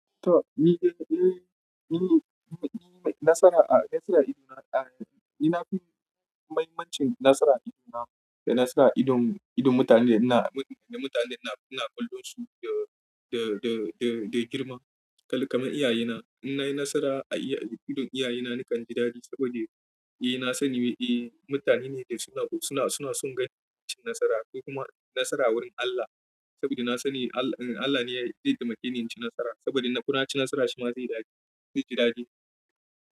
To, ni, ni, ni, ni nasara a, nasara idona a, ni na fi mai-mahimmancin nasara idona da nasara idon, idon mutanen ina, da mutanen ina, ina kallo su da, da, da, da, da girma. Kalli kaman iyaye na, in nayi nasara a iya, a idon iyaye na nakan ji dadi saboda eh na sani eh mutane ne da suna, suna, suna son ganin mutum ci nasara ko kuma nasara wurin Allah saboda na sani Allah, Allah ne zai taimake ni in ci nasara saboda in na ci nasara shi ma zai dadi, zai ji dadi.